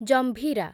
Jambhira